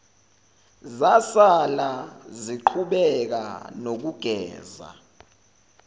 zasala ziqhubeka nokugeza